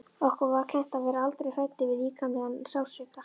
Okkur var kennt að vera aldrei hræddir við líkamlegan sársauka.